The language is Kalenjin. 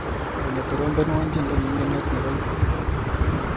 Olly, trompenwa tyendo neingetot nebo hip hop.